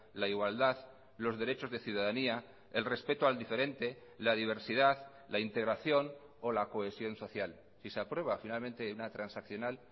la igualdad los derechos de ciudadanía el respeto al diferente la diversidad la integración o la cohesión social y se aprueba finalmente una transaccional